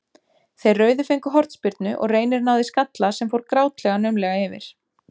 Þeir rauðu fengu hornspyrnu og Reynir náði skalla sem fór grátlega naumlega yfir.